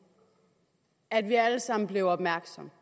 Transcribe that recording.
at vi alle sammen blev opmærksomme